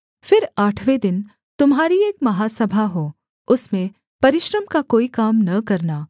फिर आठवें दिन तुम्हारी एक महासभा हो उसमें परिश्रम का कोई काम न करना